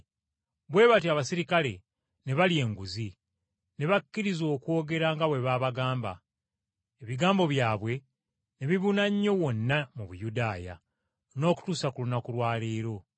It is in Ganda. Bwe batyo abaserikale ne balya enguzi, ne bakkiriza okwogera nga bwe baabagamba. Ebigambo byabwe ne bibuna nnyo wonna mu Buyudaaya, n’okutuusa ku lunaku lwa leero.